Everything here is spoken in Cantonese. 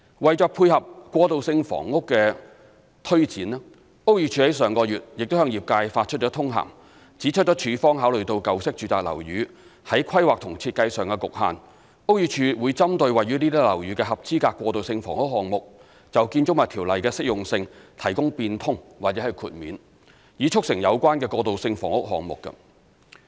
為配合過渡性房屋的推展，屋宇署於上月亦向業界發出通函，指出署方考慮到舊式住宅樓宇在規劃及設計上的局限，屋宇署會針對位於這些樓宇的合資格過渡性房屋項目，就《條例》的適用性提供變通或豁免，以促成有關的過渡性房屋項目。